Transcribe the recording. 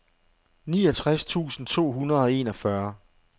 niogtres tusind to hundrede og enogfyrre